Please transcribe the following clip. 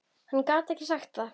Hann gat ekki sagt það.